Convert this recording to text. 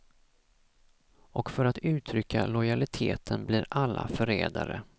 Och för att uttrycka lojaliteten blir alla förrädare.